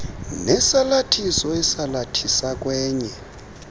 nesalathiso esalathisa kwenye